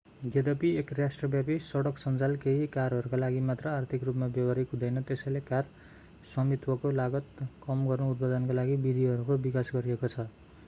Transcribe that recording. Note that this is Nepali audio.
यद्यपि एक राष्ट्रव्यापी सडक सञ्जाल केही कारहरूका लागि मात्र आर्थिक रूपमा व्यवहारिक हुँदैन त्यसैले कार स्वामित्वको लागत कम गर्न उत्पादनका नयाँ विधिहरूको विकास गरिएको छछ